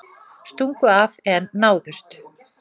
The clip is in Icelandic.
Stungu af en náðust